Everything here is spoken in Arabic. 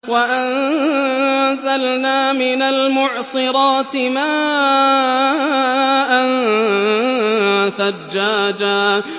وَأَنزَلْنَا مِنَ الْمُعْصِرَاتِ مَاءً ثَجَّاجًا